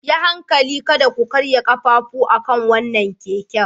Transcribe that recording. Yi hankali kada ku karya ƙafafu akan wannan keken.